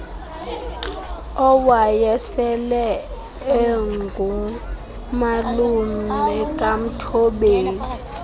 owayesele engumalume kamthobeli